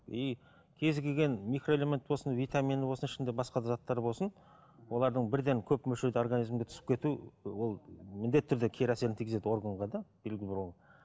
и кез келген микроэлемент болсын витамині болсын ішінде басқа да заттар болсын олардың бірден көп мөлшерде организмге түсіп кету ол міндетті түрде кері әсерін тигізеді органға да